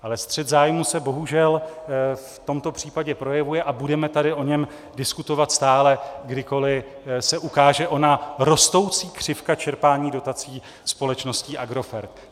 Ale střet zájmů se bohužel v tomto případě projevuje a budeme tady o něm diskutovat stále, kdykoliv se ukáže ona rostoucí křivka čerpání dotací společností Agrofert.